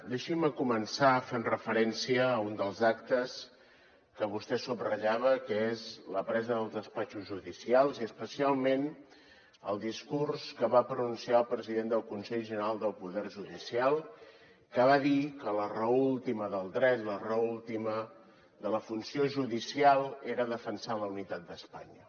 deixin me començar fent referència a un dels actes que vostè subratllava que és la presa dels despatxos judicials i especialment el discurs que va pronunciar el president del consell general del poder judicial que va dir que la raó última del dret la raó última de la funció judicial era defensar la unitat d’espanya